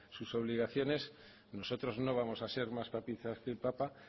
sus obligaciones nosotros no vamos a ser más papistas que el papa